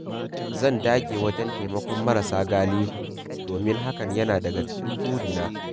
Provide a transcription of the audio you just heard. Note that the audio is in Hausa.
Zan dage wajen taimakon marasa galihu, domin hakan yana daga cikin burina.